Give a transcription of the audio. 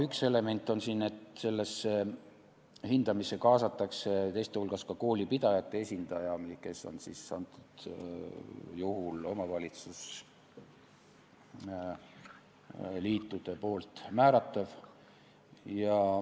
Üks element on siin see, et sellesse hindamisse kaasatakse teiste hulgas koolipidajate esindaja, kes on antud juhul omavalitsusliitude määratav.